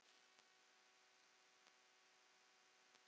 Þetta átti aldrei að gerast